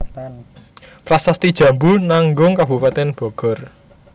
Prasasti Jambu Nanggung Kabupaten Bogor